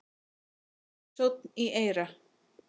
Sónn í eyra